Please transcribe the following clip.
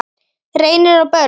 Reynir og börn.